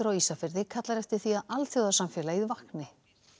á Ísafirði kallar eftir því að alþjóðasamfélagið vakni